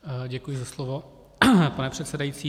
Děkuji za slovo, pane předsedající.